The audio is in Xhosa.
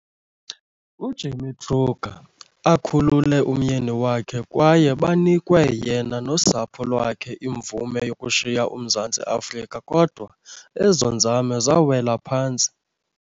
uJimmy Kruger akhulule umyeni wakhe kwaye banikwe yena nosapho lwakhe imvume yokushiya uMzantsi Afrika, kodwa ezo nzame zawela phantsi.